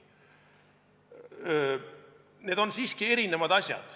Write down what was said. Need on siiski erinevad asjad.